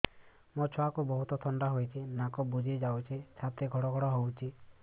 ମୋ ଛୁଆକୁ ବହୁତ ଥଣ୍ଡା ହେଇଚି ନାକ ବୁଜି ଯାଉଛି ଛାତି ଘଡ ଘଡ ହଉଚି